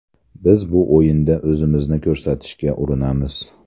Biz bu o‘yinda o‘zimizni ko‘rsatishga urinamiz.